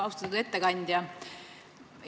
Austatud ettekandja!